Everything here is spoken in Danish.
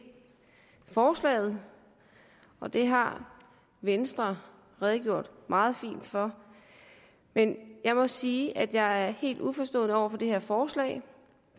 forslaget og det har venstre redegjort meget fint for men jeg må sige at jeg er helt uforstående over for det her forslag